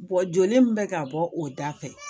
joli min bɛ ka bɔ o da fɛ